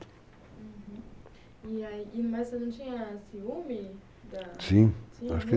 Uhum, e, aí, mas você não tinha ciúme da? Sim,